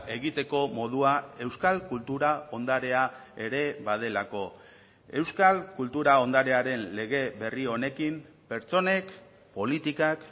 egiteko modua euskal kultura ondarea ere badelako euskal kultura ondarearen lege berri honekin pertsonek politikak